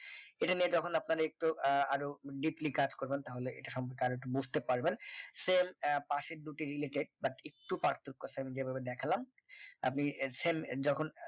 এটা নিয়ে যখন আপনার একটু আহ আরো deeply কাজ করবেন তাহলে এটা সম্পর্কে আরো একটু বুঝতে পারবেন sell পাশের দুটি related but একটু পার্থক্য আছে। আমি যেভাবে দেখালাম আপনি same যখন